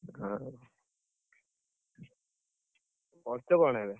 ହଉ, କରୁଚ କଣ ଏବେ?